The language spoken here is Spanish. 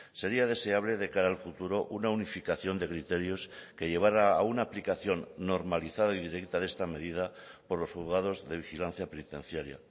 sería deseable de cara al futuro una unificación de criterios que llevara a una aplicación normalizada y directa de esta medida por los juzgados de vigilancia penitenciaria